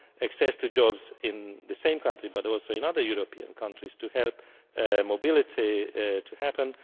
access to jobs in the same countries, but also in other European countries to help mobility to happen.